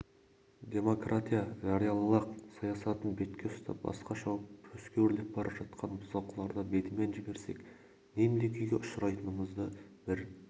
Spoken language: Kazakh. демократия жариялылық саясатын бетке ұстап басқа шауып төске өрлеп бара жатқан бұзақыларды бетімен жіберсек нендей күйге ұшырайтынымызды бір